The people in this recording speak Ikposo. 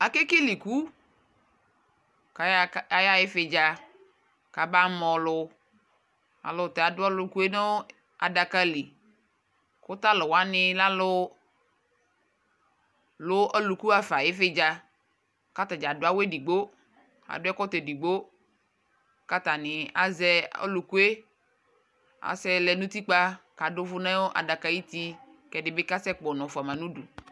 Akekele iku : k'aya k'ayaɣa ɩvɩdza, k'abama ɔlʋ ; alʋta adʋ ɔlʋkue nʋ adaka li ; kʋ talʋwanɩ lɛ alʋ lʋ olʋku ɣafa n'ɩvɩdza K'atadza adʋ awʋ edigbo adʋ ɛkɔtɔ edigbo k'atani azɛ olʋkue k'asɛlɛ n'utikpa, k'adʋ ɛkʋ nʋ adakay'uti, ɛdɩ bɩ asɛ kpọnɔ fʋama n'udu